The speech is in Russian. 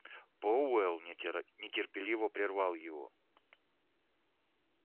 пауэлл нетерпеливо прервал его